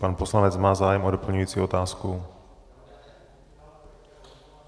Pan poslanec má zájem o doplňující otázku?